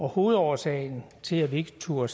hovedårsagen til at vi ikke turde